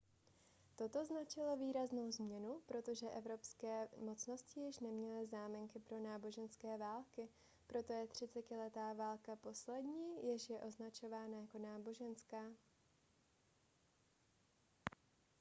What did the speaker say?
toto značilo výraznou změnu protože evropské mocnosti již neměly záminky pro náboženské války proto je třicetiletá válka poslední jež je označovaná jako náboženská